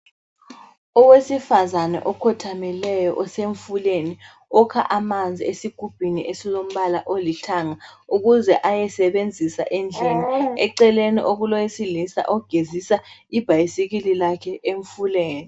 owesifazana okhothamileyo usemfuleni ukha amanzi esigubhini esilombala olithanga ukuze ayosebenzisa endlini eceleni okulowesilisa ogezisa ibhayisikili lakhe emfuleni